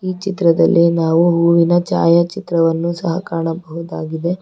ಈ ಚಿತ್ರದಲ್ಲಿ ನಾವು ಹೂವಿನ ಛಾಯಾಚಿತ್ರವನ್ನು ಸಹ ಕಾಣಬಹುದಾಗಿದೆ.